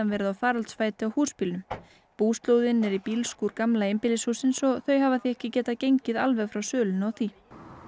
verið á faraldsfæti á húsbílnum búslóðin er í bílskúr gamla einbýlishússins og þau hafa því ekki getað gengið alveg frá sölunni á því